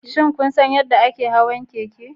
Shin kun san yadda ake hawan keke?